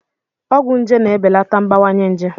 Ọgwụ nje na-ebelata mbawanye njé.